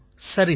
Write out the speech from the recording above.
சரி சார்